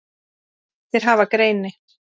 Þeir hafa greini